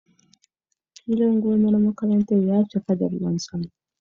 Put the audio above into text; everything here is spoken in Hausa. Filin gonar makaranta ya cika da ruwan sama.